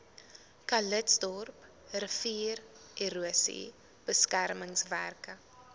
calitzdorp riviererosie beskermingswerke